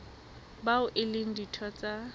bao e leng ditho tsa